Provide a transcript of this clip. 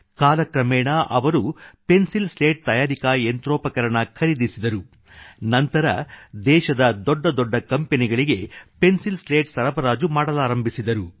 ಕಾಲಕ್ರಮೇಣ ಅವರು pencil slate ತಯಾರಿಕಾ ಯಂತ್ರೋಪಕರಣ ಖರೀದಿಸಿದರು ಮತ್ತು ನಂತರ ದೇಶದ ದೊಡ್ಡ ದೊಡ್ಡ ಕಂಪೆನಿಗಳಿಗೆ ಪೆನ್ಸಿಲ್ ಸ್ಲೇಟ್ ಸರಬರಾಜು ಮಾಡಲಾರಂಭಿಸಿದರು